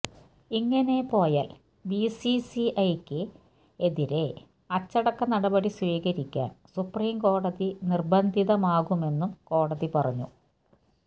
ഇങ്ങനെ പോയാൽ ബിസിസിഐയ്ക്കെതിരെ അച്ചടക്ക നടപടി സ്വീകരിക്കാൻ സുപ്രീംകോടതി നിർബന്ധിതമാകുമെന്നും കോടതി പറഞ്ഞു